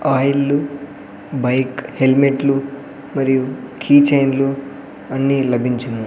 ఆయిల్లు bike హెల్మెట్లు మరియు key చైన్లు అన్నీ లభించును.